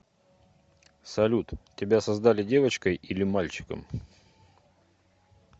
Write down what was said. салют тебя создали девочкой или мальчиком